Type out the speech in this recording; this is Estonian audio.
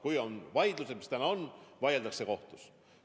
Kui on vaidlusi, mis täna on, vaieldakse kohtus.